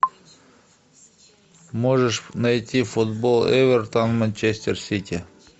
можешь найти футбол эвертон манчестер сити